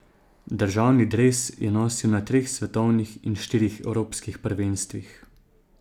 Državni dres je nosil na treh svetovnih in štirih evropskih prvenstvih.